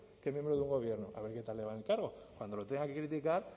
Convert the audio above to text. que miembro del gobierno a ver qué tal le va en el cargo cuando lo tengan que criticar